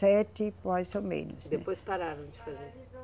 sete, mais ou menos, né. Depois pararam de fazer?